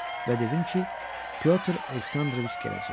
Və dedim ki, Pyotr Aleksandroviç gələcək.